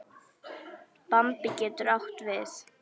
Bambi getur átt við